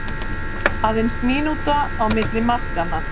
Aðeins mínúta á milli markanna